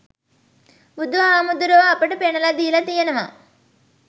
බුදුහාමුදුරැවෝ අපට පෙන්නලා දීල තියනවා